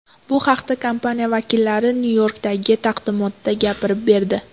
Bu haqda kompaniya vakillari Nyu-Yorkdagi taqdimotda gapirib berdi.